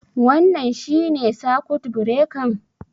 Wannan shinne sakut birekan?